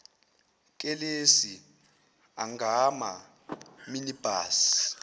kelisi angama minibus